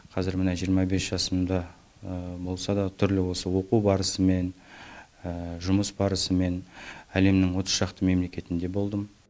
қазір міне жиырма бес жасымда болса да түрлі осы оқу барысымен жұмыс барысымен әлемнің отыз шақты мемлекетінде болдым